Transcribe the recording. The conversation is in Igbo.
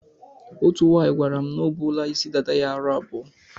Otú nwaanyị gwara m na o buola isi dada ya aro abụọ.